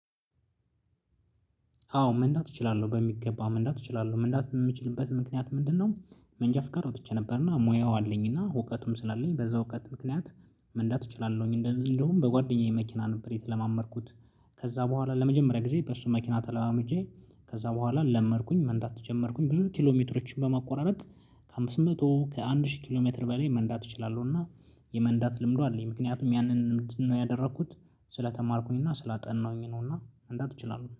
አዎ መንዳት እችላለሁ በሚገባ መንዳት እችላለሁ መንዳት የምችልበት ምክንያት ምንድነው? መንጃ ፍቃድ አውጥቼ ነበርና ሙያው አለኝና እውቀቱም ስላለኝ በዛ እውቀት ምክንያት መንዳት እችላለሁኝ እንደውም በጓደኛዬ መኪና ነበር የተለማመድኩት። ከዛ በኋላ ለመጀመሪያ ጊዜ በሱ መኪና ተለማመጄ ከዛ በኋላ ለመድኩኝ መንዳት ጀመርኩኝ ብዙ ኪሎ ሜትሮችን በማቋረጥ። ከአምስት መቶ ከአንድ ሺህ ኪሎ ሜትር በላይ መንዳት እችላለሁ እና። የመንዳት ልምዱ አለኝ ምክንያቱም ያንን ምንድነው ያደረኩት ስለተማርኩኝ እና ስለጠናሁኝ ነው እና መንዳት እችላለሁ